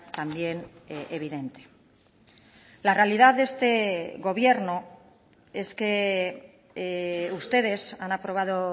también evidente la realidad de este gobierno es que ustedes han aprobado